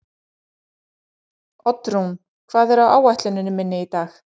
Oddrún, hvað er á áætluninni minni í dag?